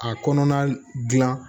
A kɔnɔna dilan